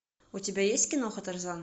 у тебя есть киноха тарзан